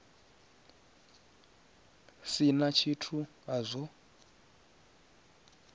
si na tshithu a zwo